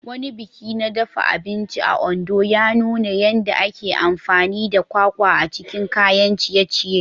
Wani biki na dafa abinci a Ondo ya nuna yadda ake amfani da kwakwa a cikin kayan ciye-ciye.